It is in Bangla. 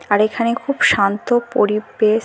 আর এখানে খুব শান্ত পরিবেশ।